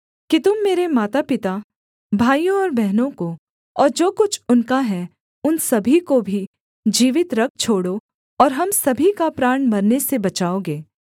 कि तुम मेरे मातापिता भाइयों और बहनों को और जो कुछ उनका है उन सभी को भी जीवित रख छोड़ो और हम सभी का प्राण मरने से बचाओगे